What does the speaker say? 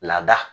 Laada